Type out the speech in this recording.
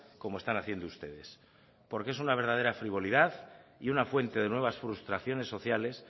como están haciendo ustedes porque es una verdadera frivolidad y una fuente de nuevas frustraciones sociales